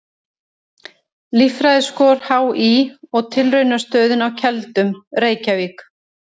Líffræðiskor HÍ og Tilraunastöðin á Keldum, Reykjavík.